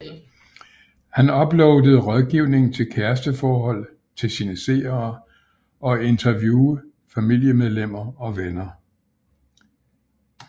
Han uploadede rådgiving til kæresteforhold til sine seere og interviewe familiemedlemmer og venner